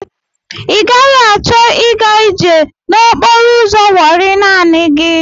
I gaghị achọ i ga ije n'okporo ụzọ Wọri naanị gị.